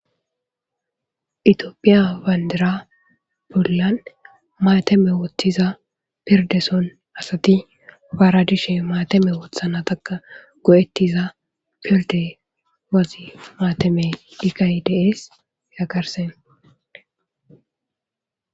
itiyophiya wandira bollan maateme woththiza pirdeson asati faaradishe maatame woothana takka go7ettiza piolde wazi maateme diqaydes yagarse